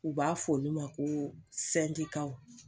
U b'a f'olu ma ko